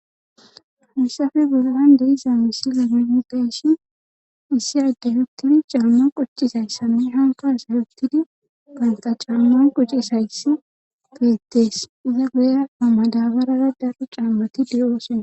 Hussafe gurlande iza misile menpeshi issi addey huttidi caamma qocci isayssame hanka asay huttidi ganta caamman qocci shayss geettees iza guya ammadabarara darru caambati diyoosona